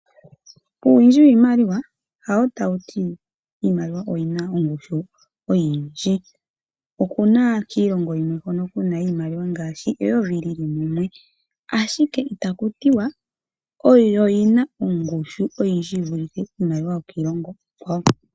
Uuwindji wiimaliwa hawo ta wuti iimaliwa oyina ongushu oyindji. Okuna kiilongo yimwe hono kuna iimaliwa ngaashi eyovi lili mumwe, ashike ita kutiwa oyo yina ongushu oyindji yi vulithe iimaliwa yo kiilongo iikwawo.